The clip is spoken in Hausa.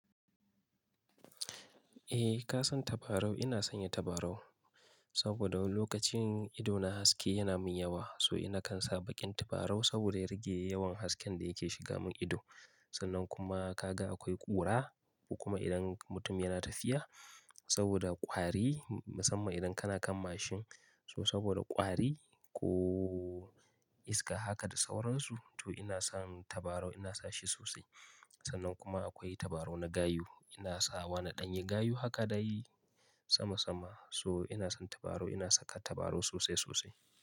Eh ka san tabarau? Ina sanya tabarau saboda lokacin ido na haske yana min yawa. So ina kan sa baƙin tabarau saboda ya rage yawan hasken da yake shiga mun ido. Sannan kuma ka ga akwai ƙura kuma idan mutum yana tafiya saboda ƙwari musamman idan kana kan mashin. So saboda ƙwari ko iska haka da sauransu to ina san tabarau ina sashi sosai. Sannan kuma akwai tabarau na gayu ina sawa na ɗanyi gayu haka da yi sama sama. So ina san tabarau ina saka tabarau sosai sosai.